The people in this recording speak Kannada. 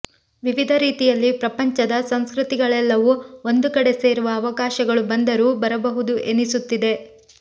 ವಿವಿಧ ರೀತಿಯಲ್ಲಿ ಪ್ರಪಂಚದ ಸಂಸ್ಕೃತಿಗಳೆಲ್ಲವೂ ಒಂದು ಕಡೆ ಸೇರುವ ಅವಕಾಶಗಳು ಬಂದರೂ ಬರಬಹುದು ಎನಿಸುತ್ತಿದೆ